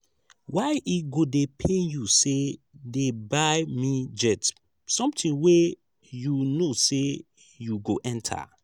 why e go dey pain you say dey buy me jet something wey you no say you go enter